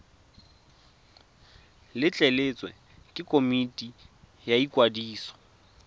letleletswe ke komiti ya ikwadiso